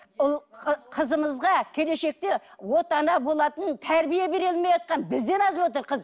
ұл ы қызымызға келешекте отана болатын тәрбие бере алмай отырған бізден азып отыр қыз